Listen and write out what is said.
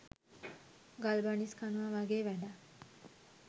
ගල් බනිස් කනවා වගේ වැඩක්.